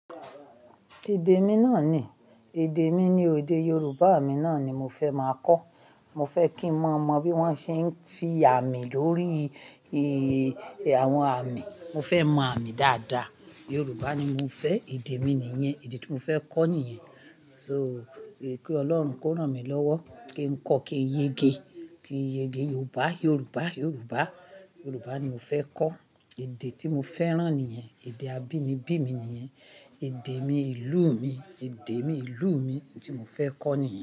Èdè mi náà ni, èdè mi ni èdè Yorùbá mi náà ni mo fẹ́ máa kọ́. Mo fẹ́ kí n mọ bí wón ṣe ń fi àmì lórí i, àwọn àmì. Mo fẹ́ mọ àmì dáadáa. Yorùbá ni mo fẹ́, èdè mi nìyẹn, èdè tí mo fẹ́ kọ́ nìyẹn. So, kí Ọlọ́run kó rán mi lọ́wọ́ kí n kọ́, kí n yege, kí n yege Yorùbá, Yorùbá, Yorùbá. Yorùbá ni mo fẹ́ kọ́. Èdè tí mo fẹ́ràn nìyẹn. Èdè abínibí mi nìyẹn. Èdè mi, ìlú mi. Èdè mi, ìlú mi tí mo fẹ́ kọ́ nìyẹn.